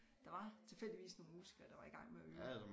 Der var tilfældigvis nogle musikere der var i gang med at øve